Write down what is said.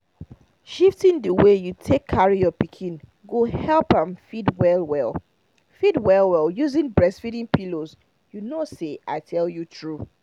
shifting the way you take carry your pikin go help am feed well well feed well well using breastfeeding pillows you know say i tell you true